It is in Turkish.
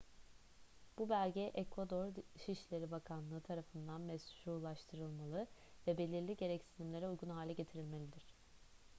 bu belge ekvador dışişleri bakanlığı tarafından meşrulaştırılmalı ve belirli gereksinimlere uygun hale getirilmelidir